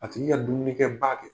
A tgi ka dumunikɛ ba kɛ.